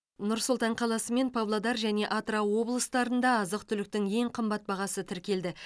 нұр сұлтан қаласы мен павлодар және атырау облыстарында азық түліктің ең қымбат бағасы тіркелді